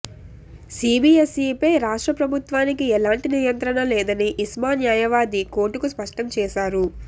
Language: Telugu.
సీబీఎస్ఈపై రాష్ట్ర ప్రభుత్వానికి ఎలాంటి నియంత్రణ లేదని ఇస్మా న్యాయవాది కోర్టుకు స్పష్టం చేశారు